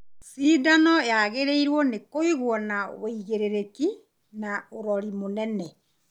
Cindano yagĩrĩirwo nĩ kũigwo na wĩigĩrĩrĩki na ũrori mũnene